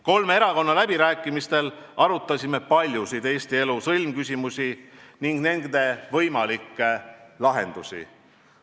Kolme erakonna läbirääkimistel arutasime paljusid Eesti elu sõlmküsimusi ning nende võimalikke lahendusi.